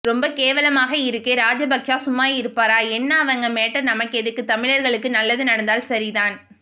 ரொம்பக் கேவலமா இருக்கே ராஜபக்சே சும்மா இருப்பாரா என்ன அவங்க மேட்டர் நமக்கெதுக்கு தமிழர்களுக்கு நல்லது நடந்தால் சரிதான்